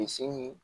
Bilisi